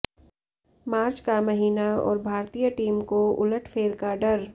मार्च का महीना और भारतीय टीम को उलटफेर का डर